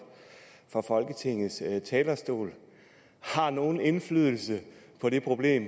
fra folketingets talerstol har nogen indflydelse på det problem